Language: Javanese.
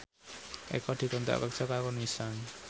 Eko dikontrak kerja karo Nissan